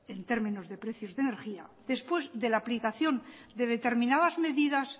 en términos de precios de energía después de la aplicación de determinadas medidas